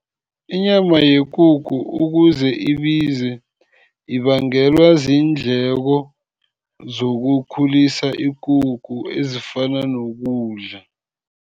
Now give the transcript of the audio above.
Inyama yekukhu ukuze ibize, ibangelwa ziindleko zokukhulisa ikukhu ezifana nokudla.